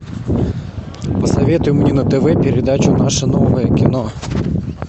посоветуй мне на тв передачу наше новое кино